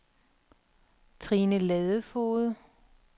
Trine Ladefoged